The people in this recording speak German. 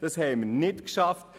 Das haben wir nicht geschafft.